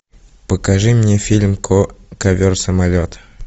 покажи мне фильм ковер самолет